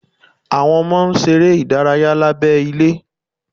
Àwọn ọmọ ń ṣeré ìdárayá lábẹ́ ilé